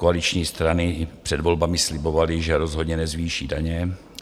Koaliční strany před volbami slibovaly, že rozhodně nezvýší daně.